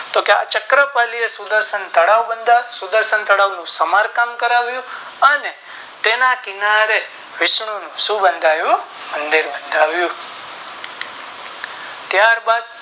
તો કે આ ચક્કર પાલી એ સુર દર્શન તળાવ બંધાવ્યું એનું સમારકામ કરાવ્યું અને તેને કિનારે વિષાણુ નું શું બંધાવ્યું ત્યાર બાદ